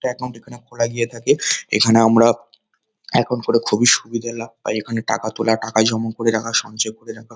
account এখানে খোলা গিয়ে থাকে এখানে আমরা একাউন্ট করে খুবই সুবিধে লাভ পাই এখানে টাকা তোলা টাকা জমা করে রাখা সঞ্চয় করে রাখা--